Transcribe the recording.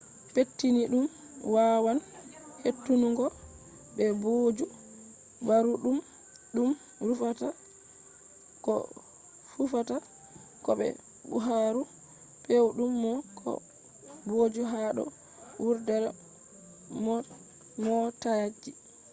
pettiniiɗum wawan hetunungo be booju ɓaruuɗum ɗum rufata ko fufata ko be buhaaru pewɗum ko booju ha do wurdere mootaji